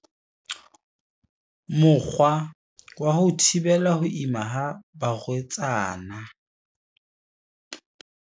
Mokgwa wa ho thibela ho ima ha barwetsana.